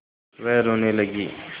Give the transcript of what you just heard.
वह रोने लगी